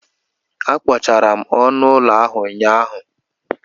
Akpochara m ọnụ ụlọ ahụ ụnyaahụ.